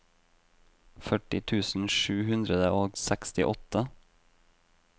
førti tusen sju hundre og sekstiåtte